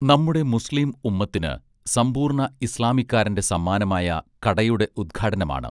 നമ്മുടെ മുസ്ലിം ഉമ്മത്തിന് സമ്പൂർണ ഇസ്ലാമിക്കാരന്റെ സമ്മാനമായ കടയുടെ ഉദ്ഘാടനമാണ്